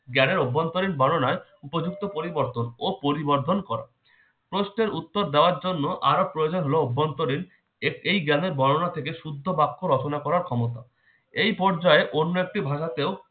জ্ঞানের অভ্যন্তরীণ বর্ণনায় উপযুক্ত পরিবর্তন ও পরিবর্ধন করে। প্রশ্নের উত্তর দেওয়ার জন্য আরো প্রয়োজনীয় অভ্যন্তরীণ এর এই জ্ঞানের বর্ণনা থেকে শুদ্ধ বাক্য রচনা করার ক্ষমতা। এই পর্যায়ে অন্য একটি ভাষাতেও